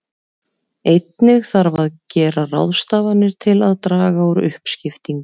Einnig þarf að gera ráðstafanir til að draga úr uppskiptingu.